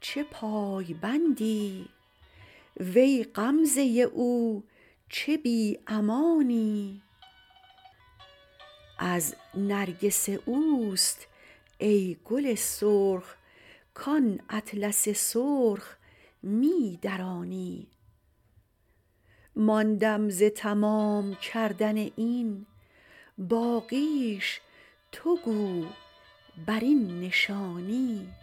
چه پای بندی وی غمزه او چه بی امانی از نرگس او است ای گل سرخ کان اطلس سرخ می درانی ماندم ز تمام کردن این باقیش تو بگو بر این نشانی